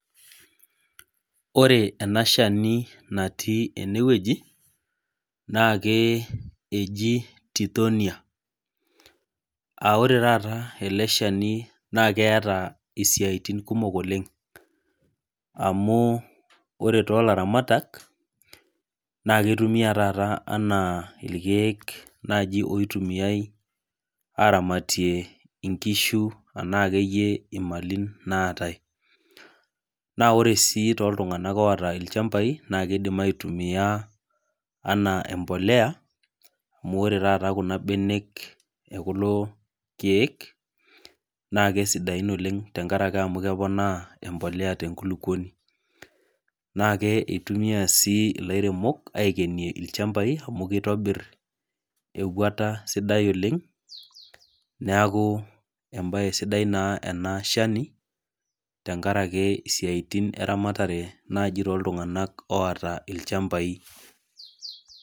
Wore ena shani natii enewuoji, naa keji titonia. Aa wore taata ele shani naa keeta isiatin kumok oleng'. Amu wore toolaramatak, naa kitumiyia taata enaa irkiek naji oitumiyiai aaramatie inkishu enaa akeyie imali naatae. Naa wore sii tooltunganak oata ilchambai naa kiidim aitumia enaa embolea, amu wore taata kuna benek ekulo kiek, naa kesidain oleng' tenkaraki keponaa embolea tenkuluponi. Naa ake itumiyiai sii ilairemok aikenie ilchambai amu kitobir ewuata sidai oleng'. Neeku embae sidai naa ena chani, tenkaraki isiatin eramatare naaji tooltunganak oata ilchambai.